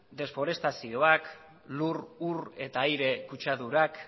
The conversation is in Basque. deforestazioak lur ur eta aire kutsadurak